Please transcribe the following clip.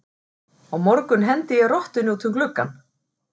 Á morgun hendi ég rottunni út um gluggann.